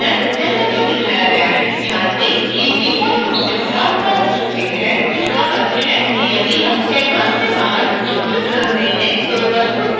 कृपया ध्यान दें कि डिफ़ॉल्ट रूप से भरा हुआ रंग सफेद है जिसका अर्थ है कि यदि हम canvas के बाहर चित्र बनाते हैं तो वस्तु को खोजना मुश्किल होगा